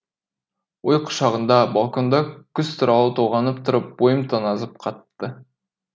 ой құшағында балконда күз туралы толғанып тұрып бойым тоңазып қапты